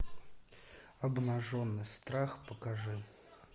обнаженный страх покажи